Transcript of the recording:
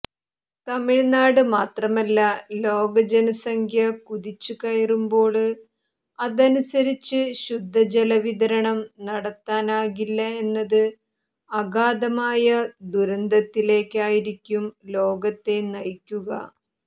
തമിഴ്നാട് മാത്രമല്ല ലോകജനസംഖ്യ കുതിച്ചുകയറുമ്പോള് അതനുസരിച്ച് ശുദ്ധജല വിതരണം നടത്താനാകില്ല എന്നത് അഗാധമായ ദുരന്തത്തിലേക്കായിരിക്കും ലോകത്തെ നയിക്കുക